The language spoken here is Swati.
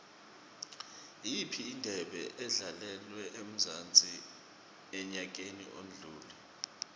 iyiphi indebe edlalelwe emzansi enyakeni odlule